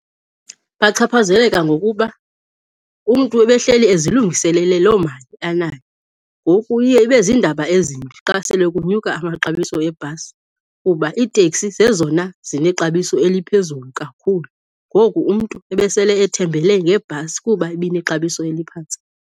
Bachaphazeleka ngokuba umntu ebehleli ezilungiselele loo mali anayo. Ngoku iye ibe ziindaba ezimbi xa sele kunyuka amaxabiso ebhasi kuba iiteksi zezona zinexabiso eliphezulu kakhulu, ngoku umntu ebesele ethembele ngebhasi kuba ibinexabiso eliphantsi.